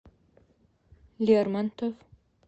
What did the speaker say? лермонтов